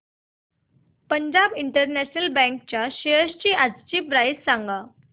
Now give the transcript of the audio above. Punjab national bank च्या shares आजची price सांगा